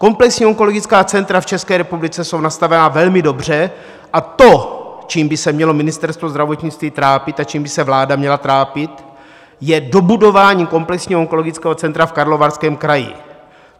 Komplexní onkologická centra v České republice jsou nastavena velmi dobře a to, čím by se mělo Ministerstvo zdravotnictví trápit a čím by se vláda měla trápit, je dobudování komplexního onkologického centra v Karlovarském kraji.